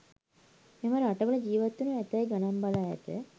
මෙම රටවල ජිවත් වනු ඇතැයි ගණන් බලා ඇත